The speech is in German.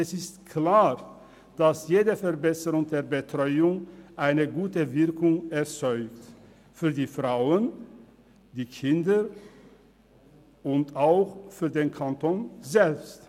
Es ist klar, dass jede Verbesserung der Betreuung eine gute Wirkung erzielt – für die Frauen, für die Kinder und auch für den Kanton selbst.